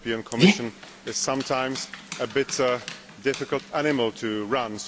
The European Commission is sometimes a bit of a difficult animal to run.